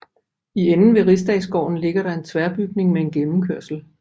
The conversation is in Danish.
I enden ved Rigsdagsgården ligger der en tværbygning med en gennemkørsel